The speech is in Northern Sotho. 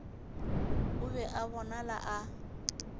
o be a bonala a